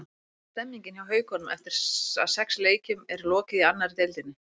Hvernig er stemmingin hjá Haukunum eftir að sex leikjum er lokið í annarri deildinni?